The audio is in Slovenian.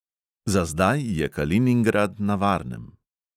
Za zdaj je kaliningrad na varnem.